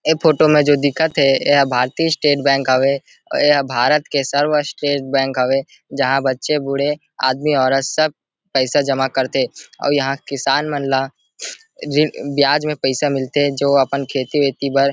ऐ फोटो में जो दिखत थे ऐह भारतीय स्टेट बैंक हवे एह भारत के सर्वश्रेष्ठ बैंक हवे जहां बच्चे बूढ़े आदमी औरत सब पैसा जमा करथे अऊ यहां किसान मन ला ब्याज में पैसा मिल थे जो अपन खेती वेती बर--